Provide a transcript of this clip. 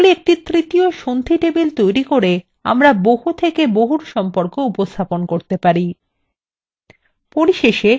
তাহলে একটি তৃতীয় সন্ধি table তৈরি করে আমরা বহু থেকে বহু সম্পর্ক উপস্থাপন করতে পারি